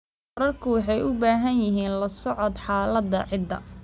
Waraabka wuxuu u baahan yahay la socodka xaaladaha ciidda.